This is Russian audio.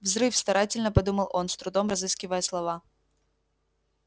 взрыв старательно подумал он с трудом разыскивая слова